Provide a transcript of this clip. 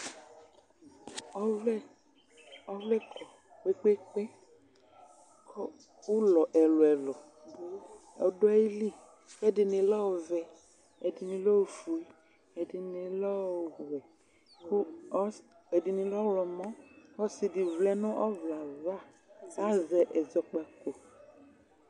ɔvlɛ kɔ kpekpekpee kʋ ʋlɔ ɛlʋɛlʋɛlʋ dʋ ayili ɛdini lɛ ɔvɛ ɛdini lɛ oƒʋe ɛdinilɛ ɔwɛ ɛdini lɛ ɔwlɔmɔ ɔsidini vlɛ nʋ ɔvlɛava azɛ ɛzɔkpako